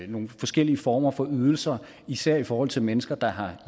nogle forskellige former for ydelser især i forhold til mennesker der har